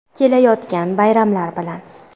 Kelayotgan bayramlar bilan!